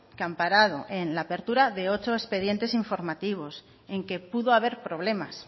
que amparado en la apertura de ocho expedientes informativos en que pudo haber problemas